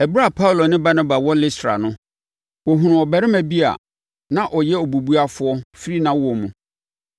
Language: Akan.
Ɛberɛ a Paulo ne Barnaba wɔ Listra no, wɔhunuu ɔbarima bi a na ɔyɛ obubuafoɔ firi nʼawoɔ mu.